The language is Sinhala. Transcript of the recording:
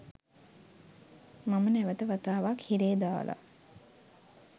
මම නැවත වතාවක් හිරේ දාලා.